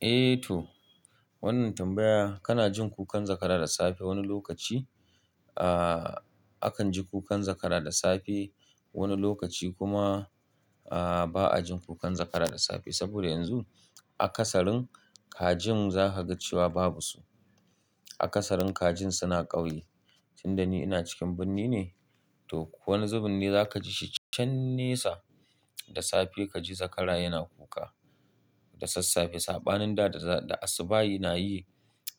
Eh to, wannan tambaya: kana jin kukan zakara da safe wani lokaci? Ahh akan ji kukan zakara da safe, wani lokaci kuma ahh ba a jin kukan zakara da safe. Saboda yanzu a ƙasalin kajin za ka ga cewa babu su. A ƙasarun kajin suna ƙauye. Tinda ni ina cikin birni ne, to ko wani zubin ne za ka ji shi can nesa da safe ka ji zakara yana kuka. Da sassafe, sabanin da da asuba'i na yi,